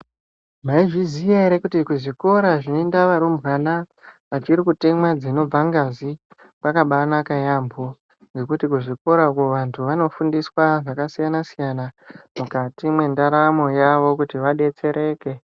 Maizviziya ere kuti kuzvikora zvinoenda varumbwana vachiri kutemwa dzinobva ngazi kwakabanaka yampho. Ngekuti kuzvikorakwo vanthu vanofundiswa zvakasiyana siyana mukati mwendaramo yawo kuti vadetsereke.